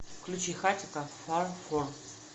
включи хатико фар фор